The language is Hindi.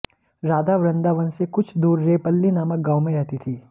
राधा वृंदावन से कुछ दूर रेपल्ली नामक गांव में रहती थीं